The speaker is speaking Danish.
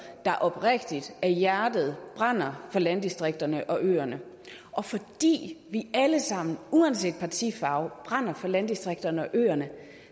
der oprigtigt af hjertet brænder for landdistrikterne og øerne og fordi vi alle sammen uanset partifarve brænder for landdistrikterne og øerne